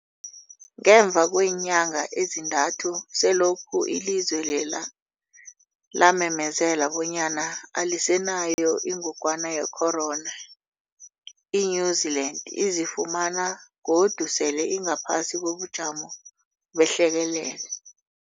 Ngemva kweenyanga ezintathu selokhu ilizwe lela lamemezela bonyana alisenayo ingogwana ye-corona, i-New-Zealand izifumana godu sele ingaphasi kobujamo behlekelele.